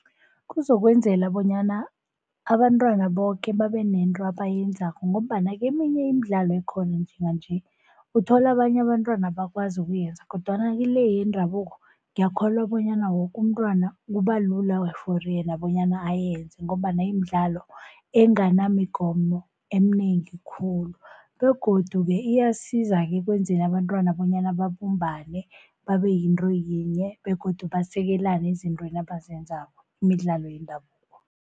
Kuzokwenzela bonyana abentwana boke babe nento abayenzako ngombana keminye imidlalo ekhona njenganje uthola abanye abentwana abakwazi ukuyenza. Kodwana kile yendabuko ngiyakholwa bonyana woke umntwana kubalula for yena bonyana ayenze ngombana imidlalo enganamigomo eminengi khulu. Begodu-ke iyasiza-ke ekwenzeni abentwana bonyana babumbane babe yinto yinye begodu basekelane ezintweni abazenzako, imidlalo yendabuko.